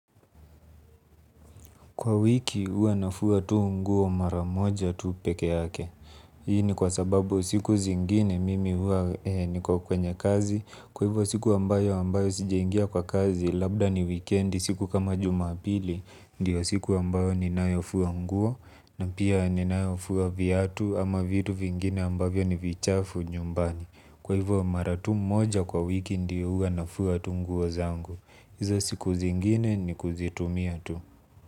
Kwa wiki huwa nafua nguo mara moja tu peke yake. Hii ni kwa sababu siku zingine mimi huwa niko kwenye kazi. Kwa hivyo siku ambayo ambayo sijaingia kwa kazi labda ni weekend siku kama jumapili. Ndio siku ambayo ninayofua nguo na pia ninayofua viatu ama vitu vingine ambavyo ni vichafu nyumbani. Kwa hivyo mara tu moja kwa wiki ndio huwa nafua tu nguo zangu. Izo siku zingine ni kuzitumia tu.